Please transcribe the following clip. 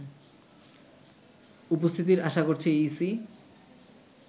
উপস্থিতির আশা করছে ইসি